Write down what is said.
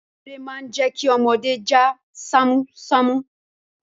Eré má ń jẹ́ kí ọmọdé já ṣámúṣámú.